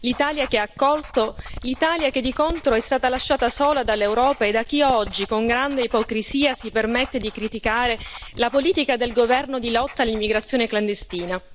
L'Italia che ha accolto, l'Italia che, di contro, è stata lasciata sola dall'Europa e da chi oggi, con grande ipocrisia, si permette di criticare la politica del governo di lotta all'immigrazione clandestina.